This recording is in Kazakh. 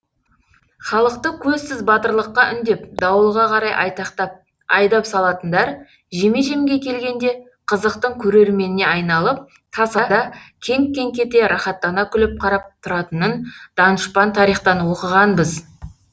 халықты көзсіз батырлыққа үндеп дауылға қарай айтақтап айдап салатындар жеме жемге келгенде қызықтың көрерменіне айналып тасада кеңк кеңк ете рахаттана күліп қарап тұратынын данышпан тарихтан оқығанбыз